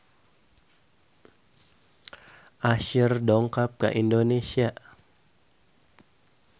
Usher dongkap ka Indonesia